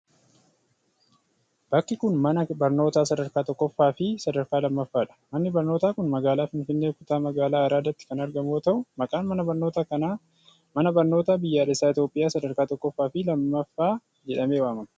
Bakki kun, mana barnootaa sadarkaa tokkoffaa fi sadarkaa lammaffaa dha. Manni barnootaa kun magaalaa Finfinnee, kutaa magaalaa Araadaatti kan argamu yoo ta'u, maqaan mana barnoota kanaa Mana Barnootaa Biyyaalessa Itoophiyaa Sadarkaa Tokkoffaa fi Lammaffaa jedhamee waamama.